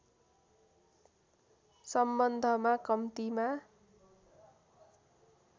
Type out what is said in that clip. सम्बन्धमा कम्तिमा